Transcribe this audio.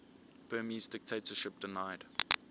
burmese dictatorship denied